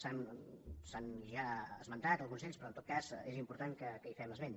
s’han ja esmentat alguns d’ells però en tot cas és important que en fem esment